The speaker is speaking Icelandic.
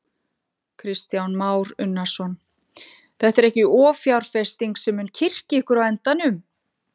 Kristján Már Unnarsson: Þetta er ekki offjárfesting sem mun kyrkja ykkur á endanum?